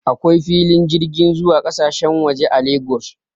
Akwai filin jirgin zuwa kasashen waje a Lagos